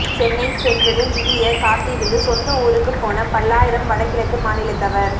சென்னை சென்ட்ரலில் விடியக் காத்திருந்து சொந்த ஊருக்குப் போன பல்லாயிரம் வடகிழக்கு மாநிலத்தவர்